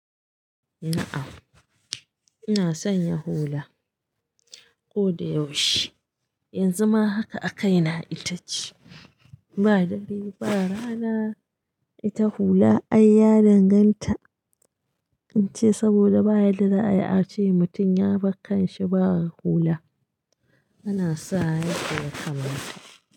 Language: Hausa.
Na, am ina sanya hola koda yaushe yanzu ma haka akaina itace ba dare ba rana ita hula ai ya danganta in ce saboda bayadda za'ayi ace mutum ya bar kanshi ba hula, ana sawa yadda ya kamata.